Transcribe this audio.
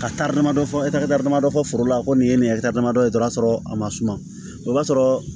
Ka taari damadɔ fɔ dɔ fɔ foro la ko nin ye nin ye damadɔ ye o y'a sɔrɔ a ma suma o b'a sɔrɔ